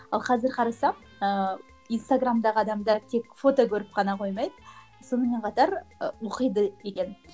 ал қазір қарасам ыыы инстаграмдағы адамдар тек фото көріп қана қоймайды сонымен қатар ы оқиды екен